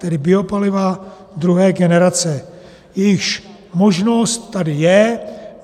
Tedy biopaliva druhé generace, jejichž možnost tady je.